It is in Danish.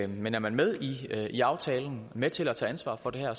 men er man med i aftalen med til at tage ansvar for det her